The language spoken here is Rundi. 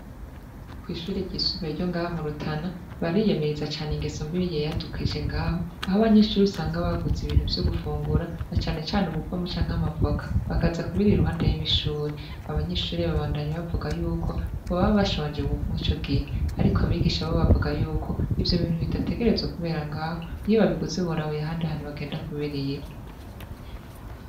Kw'ishure ryisumbuye ryo ngaha mu Rutana, bariyamiriza cane ingeso mbi yiyadukije ngaho, aho abanyeshure usanga baguze ibintu vyo gufungura, na cane cane ububamo canke amavoka, bakaza kubirira iruhande y'ishure. Abanyeshure babandanya bavuga yuko, baba bashonje muri ico gihe; ariko abigisha bo bavuga yuko, ivyo bintu bidategerezwa kubera ngaho, iyo babiguze boraba ahandi hantu bagenda kubirira.